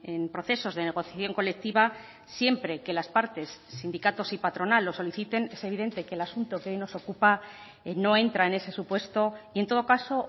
en procesos de negociación colectiva siempre que las partes sindicatos y patronal lo soliciten es evidente que el asunto que hoy nos ocupa no entra en ese supuesto y en todo caso